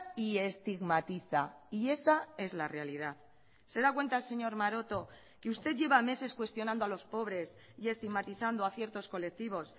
y estigmatiza y esa es la realidad se da cuenta señor maroto que usted lleva meses cuestionando a los pobres y estigmatizando a ciertos colectivos